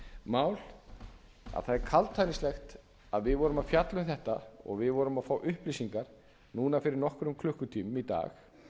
mál að það er kaldhæðnislegt að við vorum að fjalla um þetta og við vorum að fá upplýsingar núna fyrir nokkrum klukkutímum í dag